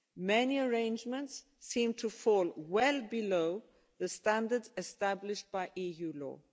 Many arrangements seem to fall well below the standards established by EU law.